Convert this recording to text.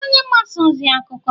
ị bụ onye mgbasa ozi? akụkọ?